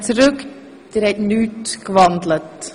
Nein, ich wandle nicht.